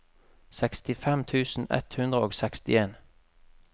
sekstifem tusen ett hundre og sekstien